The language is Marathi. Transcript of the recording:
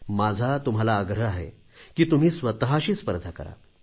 माझा तुम्हाला आग्रह आहे की तुम्ही स्वतशी स्पर्धा करा